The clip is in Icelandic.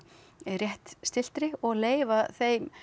rétt og leyfa þeim